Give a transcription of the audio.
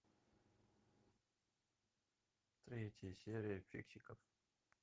третья серия фиксиков